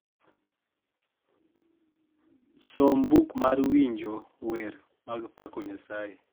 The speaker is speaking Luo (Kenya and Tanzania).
som buk mar winjo mar wer mag pako nyasaye